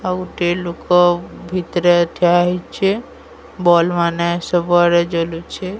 ଆଉ ଗୋଟିଏ ଲୋକ ଭିତ୍ ରେ ଠିଆ ହେଇଛି ବଲବ ମାନେ ସବୁଆଡେ ଜଲୁଛି।